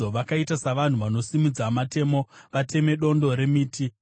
Vakaita savanhu vanosimudza matemo kuti vateme dondo remiti.